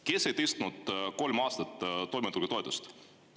Kes ei tõstnud kolm aastat toimetulekutoetust?